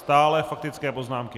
Stále faktické poznámky.